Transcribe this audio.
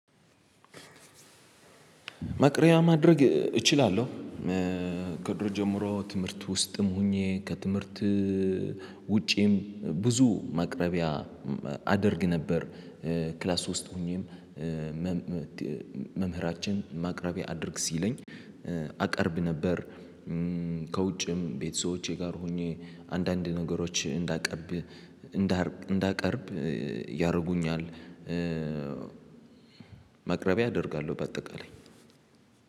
መቅሪያ ማድረግ እችላለሁ። ከድሮ ጀምሮ ትምህርት ውስጥም ሆኜ ከትምህርት ውጪም ብዙ ማቅረቢያ አደርግ ነበር። ክላስ ውስጥ ሆኜም። መምህራችን ማቅረቢያ አድርግ ሲለኝ አቀርብ ነበር። ከውጭም ቤተሰቦቼ ጋር ሆኜ አንዳንድ ነገሮች እንዳቀርብ እንዳቀርብ ያረጉኛል። መቅረቢያ አደርጋለሁ በአጠቃላይ